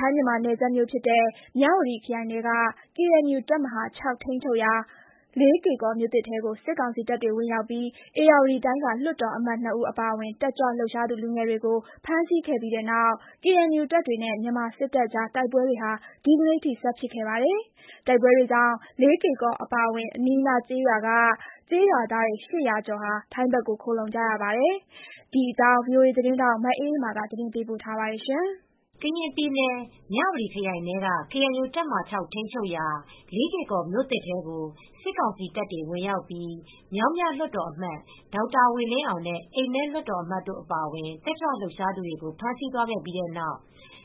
ိုင်းမြန်မာနယ်စပ် မြဝတီခရိုင်ထဲက ကေအန်ယူတပ်မဟာ (၆) ထိန်းချုပ်ရာ လေးကေကော်မြို့ သစ်ထဲကို စစ်ကောင်စီတပ်တွေဝင်ရောက်ပြီး ဧရာဝတီတိုင်းက လွှတ်တော်အမတ် ၂ ဦးအပါအဝင် တက်ကြွလှုပ်ရှားသူလူငယ်တွေကို ဖမ်းဆီးခဲ့ပြီးတဲ့နောက် ကေအန်ယူတပ်တွေနဲ့ မြန်မာစစ်တပ်ကြားတိုက်ပွဲတွေ ဒီနေ့ထိ ဆက်ဖြစ်ခဲ့ပါတယ်။ တိုက်ပွဲတွေကြောင့် လေးကေ့ကော်အပါအဝင် အနီးအနား ကျေးရွာတွေက ကျေးရွာသား ၈၀၀ ကျော် ထိုင်းဘက်ကို ခိုလှုံလာကြပါတယ်။ ဒီအကြောင်း ထိုင်းအခြေစိုက် ဗွီအိုအေသတင်းထောက် မအေးအေးမာက သတင်းပေးပို့ထားပါတယ်။ ကရင်ပြည်နယ် မြဝတီခရိုင်ထဲက ကေအန်ယူတပ်မဟာ (၆) ထိန်းချုပ်ရာ လေးကေ့ကော်မြို့သစ် ထဲကို စစ်ကောင်စီတပ်တွေဝင်ရောက်ပြီး မြောင်းမြလွှတ်တော်အမတ် ဒေါက်တာဝေလင်းအောင်နဲ့ အိမ်မဲလွှတ်တော်အမတ်တို့ အပါအဝင် တက်ကြွလှုပ်ရှားသူတွေကို ဖမ်းဆီးသွားခဲ့ပြီးတဲ့နောက်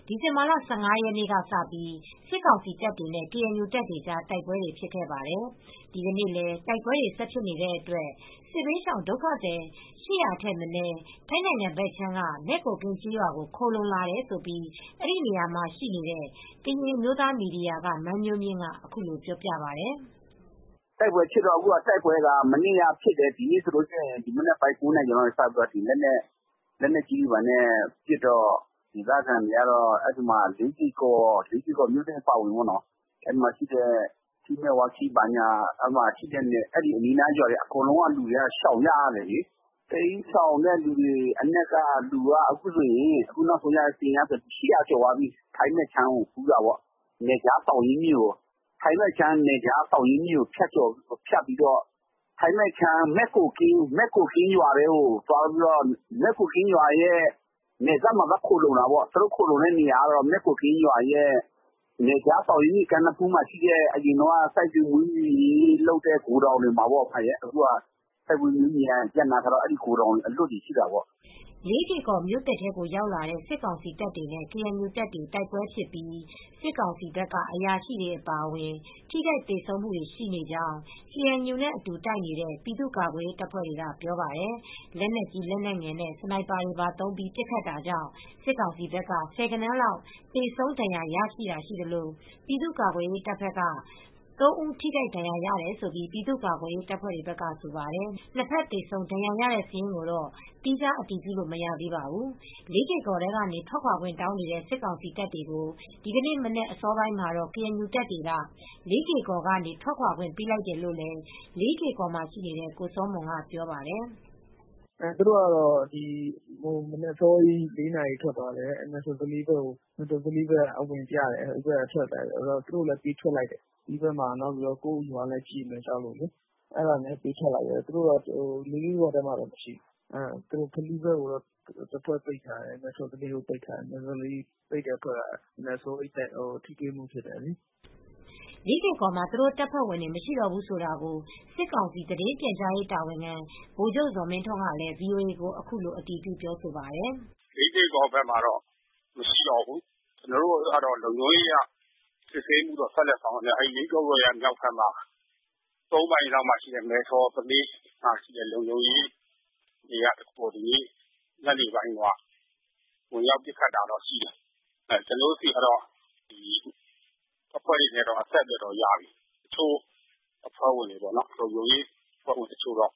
ဒီဇင်ဘာလ ၁၅ ရက်နေ့ကစပြီး စစ်ကောင်စီတပ်တွေနဲ့ ကေအန်ယူတပ်တွေကြား တိုက်ပွဲတွေဖြစ်ခဲ့ပါတယ်။ ဒီကနေ့လည်း တိုက်ပွဲတွေဆက်ဖြစ်နေတဲ့အတွက် စစ်ဘေးရှောင်ဒုက္ခသည် ၈၀၀ ထက်မနည်း ထိုင်းနိုင်ငံဘက်ခြမ်းက မဲ့ကိုကင်းကျေးရွာကို ခိုလှုံလာတယ်လို့ အဲဒီနေရာမှာရှိနေတဲ့ ကရင်အမျိုးသားမီဒီယာက မန်းမျိုးမြင့်ကပြောပါတယ်။ “တိုက်ပွဲဖြစ်တာ မနေ့ကလည်းဖြစ်တယ်။ ဒီနေ့ကျတော့လည်း မနက် ၉ နာရီကျော်ကတည်းက လက်နက်ကြီးနဲ့ပစ်နေတော့ လေးကေ့ကော်မြို့သစ်အပါအဝင် မယ်ဝါခီးအပါအဝင် အဲဒီနားကကျေးရွာတွေက အကုန်လုံးရှောင်ကြရတယ်လေ။ တိ်မ်းရှောင်တဲ့လူတွေက အခုဆိုရင် ၈၀၀ ကျော် သွားပြီ။ ထိုင်းဘက်ကို သောင်းရင်းမြစ်ကိုဖြတ်ပြီးသွားတယ်။ ထိုင်းဘက်က မဲ့ကိုကင်းရွာ နယ်စပ်မှာ သွားခိုလှုံတယ်။ သူတို့အခုနေနေတာကတော့ မယ့်ကိုကင်းရွာရဲ့စိုက်ပျိုးရေးမွေးမြူရေးလုပ်နေတဲ့ ဂိုဒေါင်နေရာမှာပေါ့နော်။ စိုက်ပျိုးမွေးမြူရေး ရပ်နားထားတော့ ဂိုဒေါင်အလွတ်တွေမှာလေ။” လေးကေကော်မြို့သစ်ထဲကိုဝင်ရောက်လာတဲ့ စစ်ကောင်စီတပ်တွေနဲ့ ကေအဲန်ယူတပ်တို့ တိုက် ပွဲတွေဖြစ်ပြီး စစ်ကောင်စီဘက်က အရာရှိတွေအပါအဝင် ထိခိုက်သေဆုံးမူတွေရှိနေကြောင်း ကေအန်ယူနဲ့အတူ တိုက်နေတဲ့ ပြည်သူ့ကာကွယ်ရေးတပ်ဖွဲ့တွေက ပြောပါတယ်။ လက်နက်ကြီးလက်နက်ငယ်နဲ့ စနိုက်ပါတွေသုံးပြီး ပစ်ခတ်တာကြောင့် စစ်ကောင်စီတပ်က ဆယ်ဂဏန်းလောက် သေဆုံး ဒဏ်ရာရတာတွေရှိသလို ပြည်သူ့ ကာကွယ်ရေးတပ်က ၃ ဦး ထိခိုက်ဒဏ်ရာရတယ် လို့ ပြည်သူ့ကာကွယ်ရေးတပ်ဖွဲ့တွေဘက်ကဆိုပါတယ်။ နှစ်ဘက် သေဆုံးဒဏ်ရာရတဲ့ စာရင်းကိုတော့ သီးခြား အတည်ပြုလို့ မရသေးပါဘူး။ လေးကေ့ကော်ထဲကနေ ထွက်ခွါခွင့်တောင်းနေတဲ့ စစ်ကောင်စီတပ်တွေကို ဒီကနေ့မနက်အစောပိုင်းမှာတော့ KNU တပ်တွေက လေးကေ့ကော်ကနေ ထွက်ခွါခွင့်ပေးလိုက်တယ်လို့လည်း လေးကေ့ကော်မှာရှိနေတဲ့ ကိုစောမွန်က ပြောပြပါတယ်။ “သူတို့ကတော့ မနက်အစောကြီး ၄ နာရီလောက် ထွက်သွားတယ်။ မယ်ထော်သလေးဘက်ကိုအဝင်ပြတယ်။ KNU ကလည်းပေးထွက်လိုက်တယ်။ ဒီဘက်က ကိုယ့်ရွာလည်းကြေမှာ ကြောက် တယ်လေ။ အဲဒါကြောင့်ပေးထွက်လိုက်တယ်။ သူတို့ လေးကေ့ကော်မှာတော့ မရှိတော့ဘူး။ တဖွဲ့ကတော့ ဖလူးဘက်မှာ ပိတ်ထားတယ်။ တဖွဲ့ကတော့ မဲ့ထော်သလေးဘက်မှာ ပိတ်ထားတယ်။ မဲ့ထော်သလေးဘက်ကအဖွဲ့နဲ့တော့ မနက်အစောကြီးကတည်းက (တိုက်ပွဲ) ထိတွေ့မှုဖြစ်တယ်လေ။” လေးကေ့ကော်မှာ သူတို့တပ်ဖွဲ့ဝင်တွေ မရှိတော့ဘူးဆိုတာကို စစ်ကောင်စီ သတင်းပြန်ကြားရေးတာဝန်ခံ ဗိုလ်ချုပ်ဇော်မင်းထွန်းကလည်းဗွီအိုအေကို အခုလို အတည်ပြု ပြောဆိုပါတယ်။ “လေးကေကော်ကတော့ မနေ့က ကျနော်ပြောတဲ့အတိုင်းပဲဗျ။ လေးကေကော်ဘက်မှာတော့ မရှိတော့ဘူး။ ကျနော်တို့ကတော့ လုံခြုံရေးအရ စစ်ဆေးမှုတော့ ဆက်လုပ်မှာပါခင်ဗျ။ အဲဒီ လေးကေကော်ရဲ့မြောက်ဘက်က သုံးမိုင်လောက်မှာရှိတဲ့ မယ်ထော်သလေးမှာရှိတဲ့ လုံခြုံရေးတွေက ညနေပိုင်းတုန်းက ဝင်ရောက်ပစ်ခတ်တာတော့ရှိတယ်။ ကျနော်တို့ဆီက အဖွဲ့တွေနဲ့ကတော့ အဆက်အသွယ်တော့ရပြီ။ လုံခြုံရေးအဖွဲ့ဝင်တချို့တော့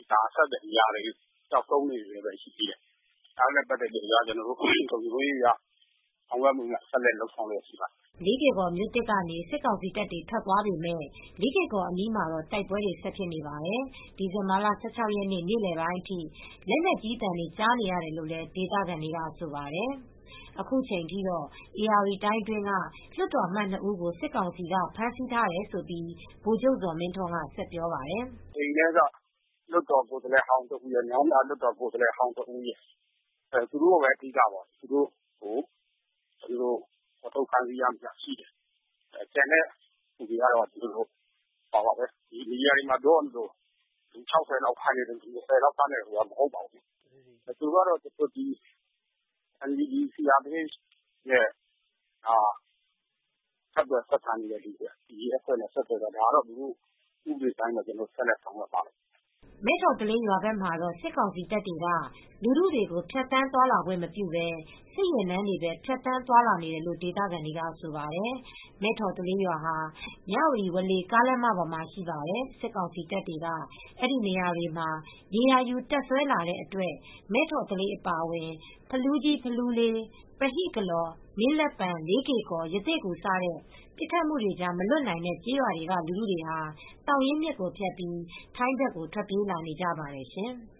အဆက်အသွယ်မရသေးဘူး။ ပျောက်ဆုံးအနေနဲ့ပဲ ရှိသေးတယ်။ ဒါတွေနဲ့ပတ်သက်လို့ လုံခြုံရေးအရ ဆောင်ရွက်မှုများ ဆက်လက် လုပ်ဆောင်လျှက်ရှိပါတယ်။” လေးကေ့ကော်မြို့သစ်ကနေ စစ်ကောင်စီတပ်တွေ ထွက်သွားပေမယ့် လေးကေ့ကော်အနီးမှာတော့ တိုက်ပွဲတွေဆက်ဖြစ်နေပါတယ်။ ဒီဇင်ဘာလ ၁၆ ရက်နေ့ နေလည်ပိုင်းအထိ လက်နက်ကြီးသံတွေ ကြားနေရတယ်လို့ ဒေသခံတွေကဆိုပါတယ်။ အခုချိန်ထိတော့ ဧရာဝတီတိုင်းအတွင်းက လွှတ်တော်အမတ် ၂ ဦးကို စစ်ကောင်စီက ဖမ်းဆီးထားတယ်လို့ ဗိုလ်ချုပ်ဇော်မင်းထွန်းက ဆက်ပြောပါတယ်။ “မနေ့က အိမ်မဲက လွှတ်တော်ကိုယ်စားလှယ်ဟောင်းတဦးရယ်၊ မြောင်းမြကိုယ်စားလှယ်ဟောင်းတဦးရယ်။ သူတို့ကိုပဲ အဓိက၊ သူတို့ကို ဖော်ထုတ် ဖမ်းဆီးရမိတာရှိတယ်။ ကျန်တဲ့သူတွေကတော့ မီဒီယာတွေမှာပြောသလို လူ ၆၀ လောက် ဖမ်းတယ်တို့၊ လူ ၂၀ လောက်ဖမ်းတယ်တို့ဆိုတာ မဟုတ်ပါဘူး။ သူတို့ကတော့ NUG, CRPH တို့နဲ့ ဆက်သွယ်၊ ဆက်ဆံနေတဲ့သူတွေ။ ဒါကတော့ ဥပဒေအတိုင်းပဲ ကျနော်တို့ ဆက်လက်ဆောင်ရွက်ပါမယ်။” မဲ့ထော်သလေးရွာဘက်မှာတော့ စစ်ကောင်စီတပ်တွေက လူထုကို ဖြတ်သန်းသွားလာခွင့်မပြုဘဲ စစ်ယာဉ်တန်းတွေပဲ ဖြတ်သန်းသွားလာနေတယ်လို့ ဒေသခံတွေကဆိုပါတယ်။ မဲ့ထော်သလေးရွာဟာ မြဝတီ ဝေါလေကားလမ်းမပေါ်မှာရှိပါတယ်။ စစ်ကောင်စီတပ်တွေက အဲဒီနေရာတွေမှာ နေရာယူတပ်စွဲလာတဲ့အတွက် မဲ့ထော်သလေးအပါအဝင် ဖလူးကြီး၊ ဖလူးလေး၊ ပဟိကလော်၊ မင်းလက်ပံ၊ လေးကေ့ကော်၊ ရသေ့ဂူ စတဲ့ ပစ်ခတ်မှုတွေကြား မလွတ်နိုင်တဲ့ကျေးရွာတွေက ဒေသခံပြည်သူတွေဟာ သောင်ရင်းမြစ်ကိုဖြတ်ပြီး ထိုင်းဘက်ကို ထွက်ပြေးလာနေကြပါတယ်ရှင်။